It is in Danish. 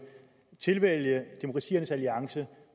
tilvælge demokratiernes alliance